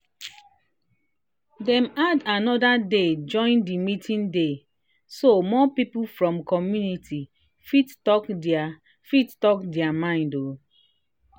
dem add another day join the meeting day so more people from community fit talk their fit talk their mind.